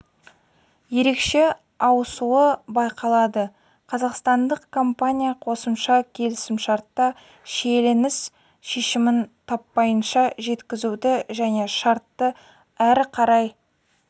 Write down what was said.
ерекше ауысуы байқалады қазақстандық компания қосымша келісімшартта шиеленіс шешімін таппайынша жеткізуді және шартты ары қарай